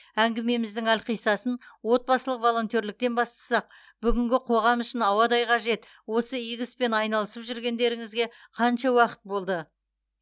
әңгімеміздің әлқисасын отбасылық волонтерліктен бастасақ бүгінгі қоғам үшін ауадай қажет осы игі іспен айналысып жүргендеріңізге қанша уақыт болды